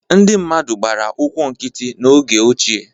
Ndị mmadụ gbara ụkwụ nkịtị n’oge ochie.